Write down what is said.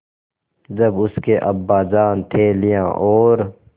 जब उसके अब्बाजान थैलियाँ और